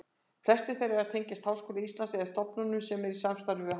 Flestir þeirra tengjast Háskóla Íslands eða stofnunum sem eru í samstarfi við hann.